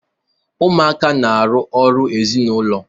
Ụmuaka na-arụ ọrụ ezịnụlo